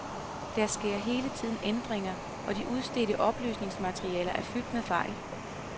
Der sker hele tiden ændringer, og de udsendte oplysningsmaterialer er fyldt med fejl.